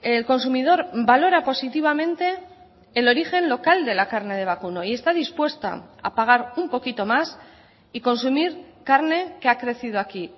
el consumidor valora positivamente el origen local de la carne de vacuno y está dispuesta a pagar un poquito más y consumir carne que ha crecido aquí